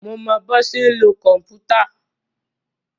Mo mọ bọ́ ṣe ń lo kòmpútà.